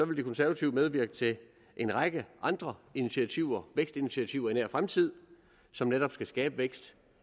de konservative medvirke til en række andre initiativer vækstinitiativer i nær fremtid som netop skal skabe vækst